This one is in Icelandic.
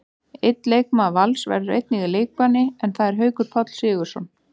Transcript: Einn leikmaður Vals verður einnig í leikbanni, en það er Haukur Páll Sigurðsson.